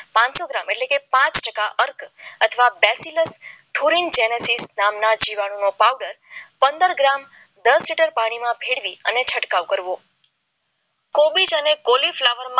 પાનસો ગ્રામ એટલે પાંચ ટકા અર્થ અથવા બેસિલર જેનીસસ જીવાણુ નો પાવડર પંદર ગ્રામ દસ લીટર પાણીમાં ભેળવી છટકાવ કરવો કોબીજ અને કોલી ફ્લાવર